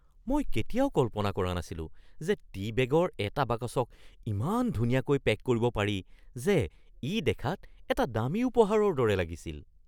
মই কেতিয়াও কল্পনা কৰা নাছিলো যে টী বেগৰ এটা বাকচক ইমান ধুনীয়াকৈ পেক কৰিব পাৰি যে ই দেখাত এটা দামী উপহাৰৰ দৰে লাগিছিল।